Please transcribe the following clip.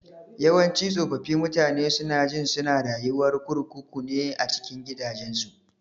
Yawanci tsofaffi mutane sunajin suna rayuwar kurkuku ne a cikin gidajensu.